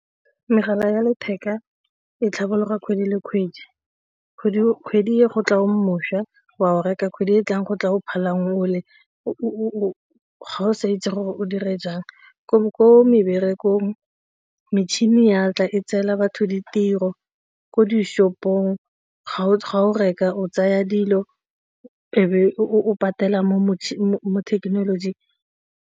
Megala ya letheka e tlhabolola kgwedi le kgwedi, kgwedi e go tla o mošwa wa o reka kgwedi e e tlang go tla phelang o le o ga o sa itse gore o dire jang. Ko meberekong metšhini ya tla e tseela batho ditiro, ko di-shopo-ng ga o reka o tsaya dilo e be o patelang mo thekenolojing.